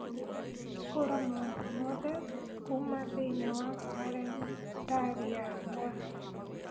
hũra maũndũ mothe kuuma thĩinĩ wa kalendarĩ yakwa